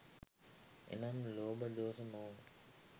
එනම් ලෝභ, දෝස, මෝහ